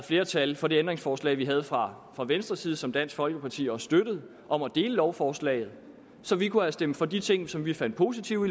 flertal for det ændringsforslag vi havde fra venstres side og som dansk folkeparti også støttede om at dele lovforslaget så vi kunne have stemt for de ting som vi fandt positive